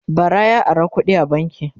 bara ya Ara kuɗi a banki